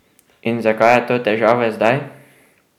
In zakaj je to težava zdaj?